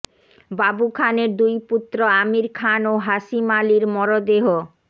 বাবু খানের দুই পুত্র আমির খান ও হাশিম আলীর মরদেহ